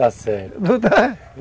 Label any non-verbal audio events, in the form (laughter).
Está certo (laughs)